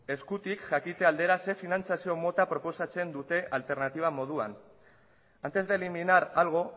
eskutik jakite aldera zer finantziazio mota proposatzen dute alternatiba moduan antes de eliminar algo